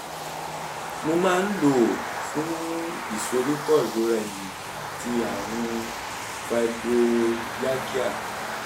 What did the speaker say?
mo máa ń lò ó fún ìsoríkọ́ ìrora ẹ̀yìn àti àrùn fibromyalgia